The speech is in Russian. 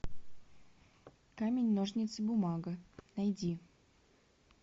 камень ножницы бумага найди